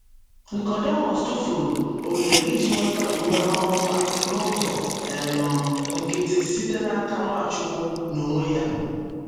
Nicodemus tụfuru ohere iji nweta ume ọhụrụ a n’ụzọ um nkịtị site n’aka Nwachukwu n’onwe ya!